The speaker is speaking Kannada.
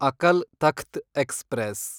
ಅಕಲ್ ತಖ್ತ್ ಎಕ್ಸ್‌ಪ್ರೆಸ್